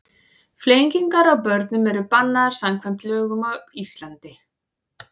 Flengingar á börnum eru bannaðar samkvæmt lögum á Íslandi.